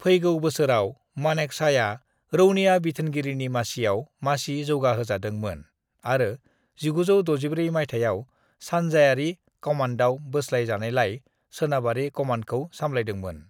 "फैगौ बोसोराव, मानेकशॉआ रौनिया बिथोनगिरिनि मासियाव मासि जौगाहोजादों मोन आरो 1964 मायथाइयाव सानजाआरि कमानदआव बोस्लाय जानायलाय, सोनाबारि कमानदखौ सामलायदों मोन।"